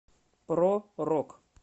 про рок